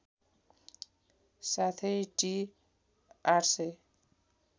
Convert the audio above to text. साथै टि ८००